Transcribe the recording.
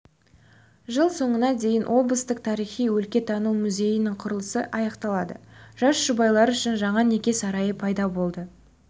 жыл соңына дейін облыстық тарихи-өлкетану музейінің құрылысы аяқталады жас жұбайлар үшін жаңа неке сарайы пайда болады